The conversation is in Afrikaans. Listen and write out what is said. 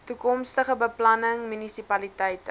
toekomstige beplanning munisipaliteite